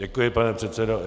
Děkuji, pane předsedo.